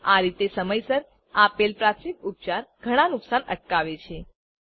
આ રીતે સમયસર આપેલ પ્રાથમિક ઉપચાર ઘણાં નુકસાન અટકાવે છે